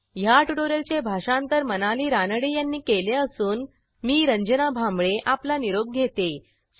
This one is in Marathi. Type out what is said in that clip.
ह्या ट्युटोरियलचे भाषांतर मनाली रानडे यांनी केले असून मी रंजना भांबळे आपला निरोप घेते160